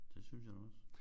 Det synes jeg også